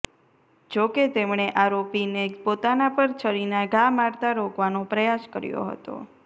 જોકે તેમણે આરોપીને પોતાના પર છરીના ઘા મારતા રોકવાનો પ્રયાસ કર્યો હતો